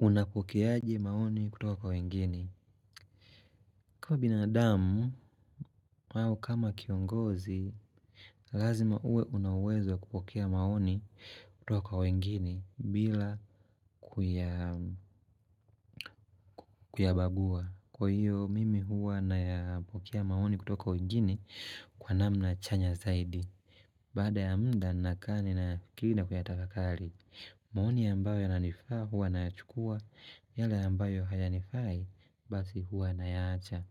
Unapokea aje maoni kutoka kwa wengine. Kuwa binadamu, au kama kiongozi, lazima uwe una uwezo kupokea maoni kutoka kwa wengine bila kuyabagua. Kwa hiyo, mimi huwa nayapokea maoni kutoka kwa wengine kwa namna chanya zaidi. Baada ya muda nakaa ninayafikiri na kuyatafakari, maoni ambayo yananifaa huwa nayachukua, yale ambayo hayanifai basi huwa nayaacha